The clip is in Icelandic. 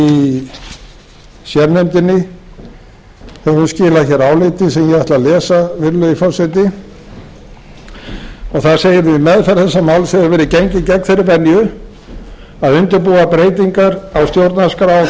í sérnefndinni höfum skilað áliti sem ég ætla að lesa virðulegi forseti og það segir við meðferð þessa máls hefur verið gengið gegn þeirri venju að undirbúa breytingar á stjórnarskrá á þann